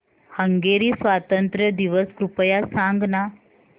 Hungary स्वातंत्र्य दिवस कृपया सांग ना